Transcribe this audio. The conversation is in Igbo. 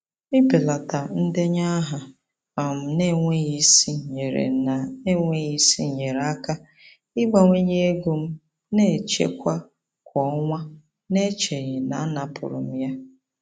Ịbelata ndenye aha um na-enweghị isi nyeere na-enweghị isi nyeere aka ịbawanye ego m na-echekwa kwa ọnwa n'echeghị na a napụrụ m ya.